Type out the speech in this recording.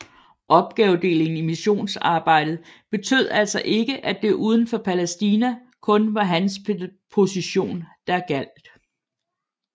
Opgavedelingen i missonsarbejdet betød altså ikke at det uden for Palæstina kun var hans position der gjaldt